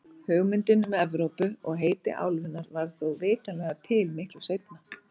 Hugmyndin um Evrópu og heiti álfunnar varð þó vitanlega til miklu seinna.